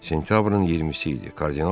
Sentyabrın 20-si idi.